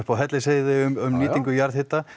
á Hellisheiði um nýtingu jarðhita